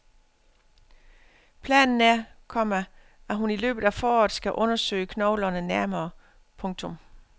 Planen er, komma at hun i løbet af foråret skal undersøge knoglerne nærmere. punktum